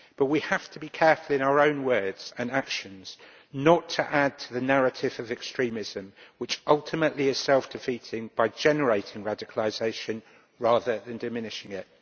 We have to be careful in our own words and actions not to add to the narrative of extremism which is ultimately self defeating by generating radicalisation rather than diminishing it.